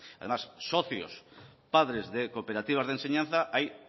además socios padres de cooperativas de enseñanza hay